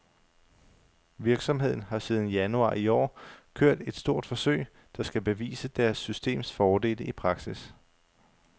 Virksomheden har siden januar i år kørt et stort forsøg, der skal bevise deres systems fordele i praksis.